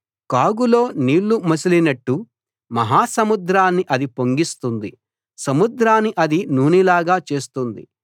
కాగులో నీళ్ళు మసిలినట్టు మహాసముద్రాన్ని అది పొంగిస్తుంది సముద్రాన్ని అది నూనెలాగా చేస్తుంది